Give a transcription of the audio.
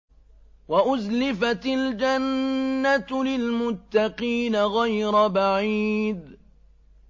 وَأُزْلِفَتِ الْجَنَّةُ لِلْمُتَّقِينَ غَيْرَ بَعِيدٍ